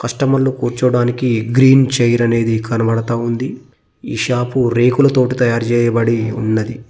కస్టమర్లు కూర్చోడానికి green chair అనేది కనబడతా ఉంది ఈ షాపు రేకులతోటి తయారు చేయబడి ఉన్నది.